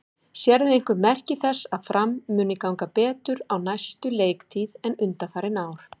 Sérðu einhver merki þess að Fram muni ganga betur á næstu leiktíð en undanfarin ár?